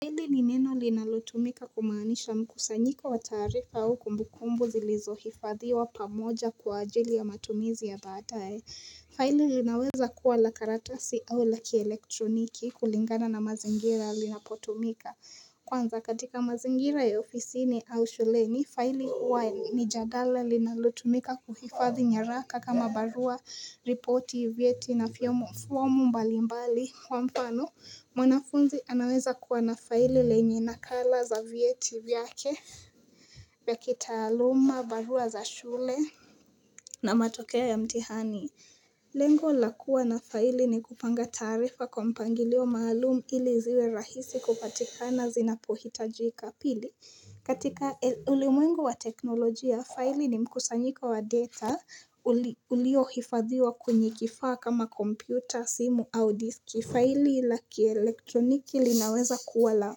Faili ni neno linalutumika kumaanisha mkusanyiko wa taarifa au kumbukumbu zilizohifadhiwa pamoja kwa ajili ya matumizi ya baadae. Faili linaweza kuwa la karatasi au la kielektroniki, kulingana na mazingira linapotumika. Kwanza katika mazingira ya ofisini au shuleni, faili huwa ni jalada linalotumika kuhifadhi nyaraka kama barua, ripoti, vyeti, na fomu mbalimbali. Kwa mfano, mwanafunzi anaweza kuwa na faili lenye nakala za vyeti vyake vya kitaaluma, barua za shule na matokeo ya mtihani Lengo la kuwa na faili ni kupanga taarifa kwa mpangilio maalum ili ziwe rahisi kupatikana zinapohitajika. Pili, katika ulimwengu wa teknolojia, faili ni mkusanyiko wa data uliohifadhiwa kwenye kifaa kama kompyuta, simu au diski. Faili la kielektroniki linaweza kuwa la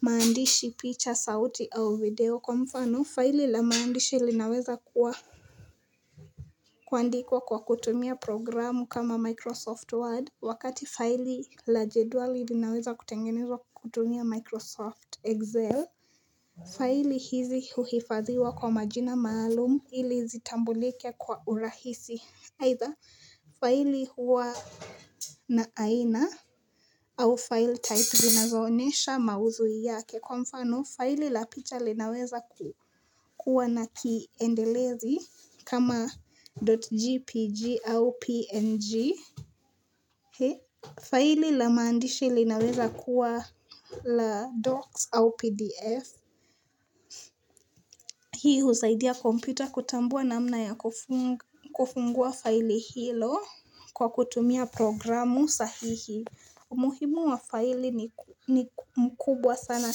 maandishi, picha, sauti au video. Kwa mfano, faili la maandishi linaweza kuandikwa kwa kutumia programu kama Microsoft Word, wakati faili la jedwali linaweza kutumia Microsoft Excel Faili hizi huhifadhiwa kwa majina maalum ili zitambulike kwa urahisi, either faili huwa na aina au file type zinazoonesha maudhui yake. Kwa mfano faili la picha linaweza kuwa na kiendelezi kama.jpg au png Faili la maandishi linaweza kuwa la docs au pdf Hii husaidia kompyuta kutambua namna ya kufungua faili hilo kwa kutumia programu sahihi umuhimu wa faili ni mkubwa sana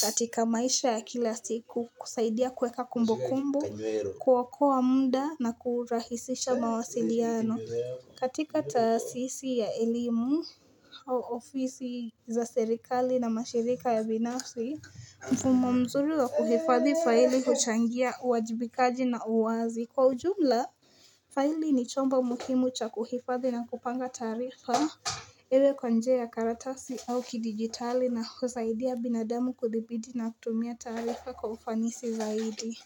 katika maisha ya kila siku. Kusaidia kuweka kumbukumbu, kuokoa muda na kurahisisha mawasiliano. Katika taasisi za elimu, ofisi za serikali, na mashirika binafsi, mfumo mzuri wa kuhifadhi faili huchangia uwajibikaji na uwazi. Kwa ujumla, faili ni chombo muhimu cha kuhifadhi na kupanga taarifa iwe kwa njia ya karatasi au kidigitali, na husaidia binadamu kudhibiti na kutumia taarifa kwa ufanisi zaidi.